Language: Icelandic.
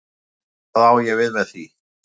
Hvað á ég við með því?